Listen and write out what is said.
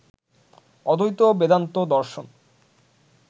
অদ্বৈত বেদান্ত দর্শন